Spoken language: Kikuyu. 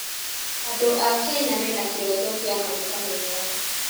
Andũ a Kenya mena kĩroto kĩa maica mega.